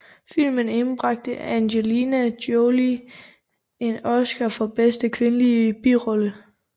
Filmen indbragte Angelina Jolie en Oscar for Bedste Kvindelige Birolle